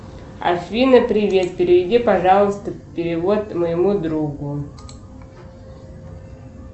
афина привет переведи пожалуйста перевод моему другу